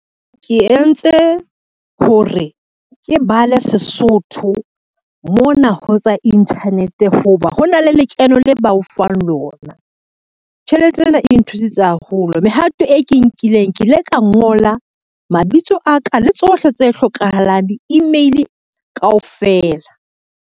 Ke entse ho re ke bale Sesotho mona ho tsa internet ho ba, ho na le lekeno le ba o fang lona, tjhelete ena e nthusitse haholo. Mehato e ke inkileng, ke ile ka ngola mabitso a ka le tsohle tse hlokahalang, di-email kaofela.